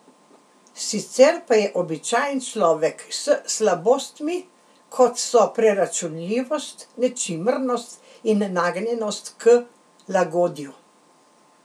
Sicer pa je običajen človek s slabostmi, kot so preračunljivost, nečimrnost in nagnjenost k lagodju.